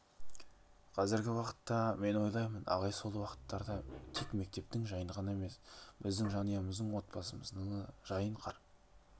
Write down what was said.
қазіргі уақытта мен ойлаймын ағай сол уақыттарда тек мектептің жайын ғана емес біздің жанұямыздың отбасымыздың да жайын қатар